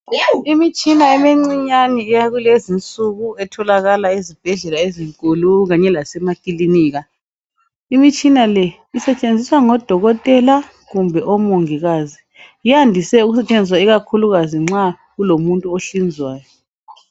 Imitshina emincinyane yakulezinsuku etholakala ezibhedlela ezinkulu kanye lasemakilika imitshina le isetshenziswa ngodokotela kumbe omongikazi iyandise ukusetshenziswa kakhulukazi nxa kulomuntu ohlinzwayo.